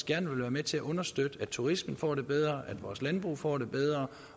gerne vil være med til at understøtte at turismen får det bedre at vores landbrug får det bedre